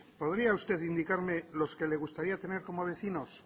podría usted indicarme los que le gustaría tener como vecinos